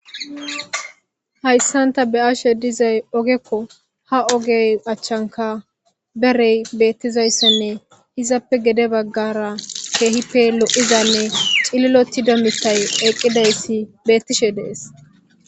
Hayssanta beyashe dizay ogekko ha ogey achchanka berey beettizayssenne izappe gede baggara keehippe lo7izanne cililoti dommitay eeqqidayssi beettishe dees.